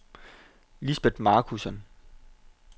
Lisbet Marcussen